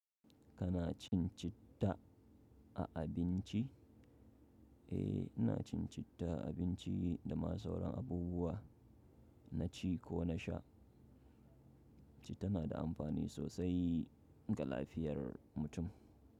Kana cin citta a abinci? Eh, ina cin citta a abinci da ma sauran abubuwa na ci ko na sha, citta na da amfani sosai ga lafiyar mutum.